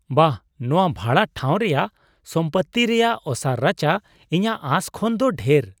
ᱵᱟᱦ, ᱱᱚᱶᱟ ᱵᱷᱟᱲᱟ ᱴᱷᱟᱶ ᱨᱮᱭᱟᱜ ᱥᱚᱢᱯᱚᱛᱛᱤ ᱨᱮᱭᱟᱜ ᱚᱥᱟᱨ ᱨᱟᱪᱟ ᱤᱧᱟᱹᱜ ᱟᱸᱥ ᱠᱷᱚᱱ ᱫᱚ ᱰᱷᱮᱨ !